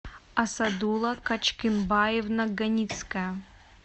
асадула качкенбаевна ганицкая